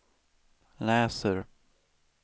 läser